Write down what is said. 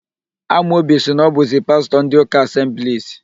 Amobi sị na ọ bụzi pastọ ndị ụka Asemblis.